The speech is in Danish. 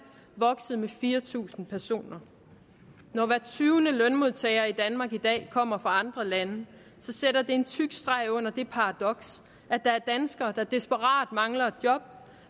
vokset med fire tusind personer når hver tyvende lønmodtager i danmark i dag kommer fra andre lande sætter det en tyk streg under det paradoks at der er danskere der desperat mangler et job